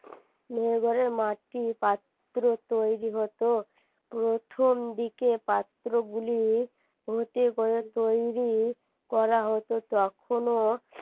মেহের গড়ের মাটি পাত্র তৈরী হতো প্রথমদিকে পাত্রগুলি তৈরী করা হতো তখন ও